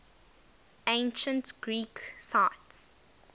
ancient greek sites